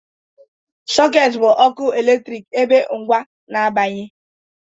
Sockets bụ ọkụ eletrik ebe ngwa na-abanye